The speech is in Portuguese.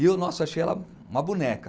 E eu, nossa, achei ela uma boneca.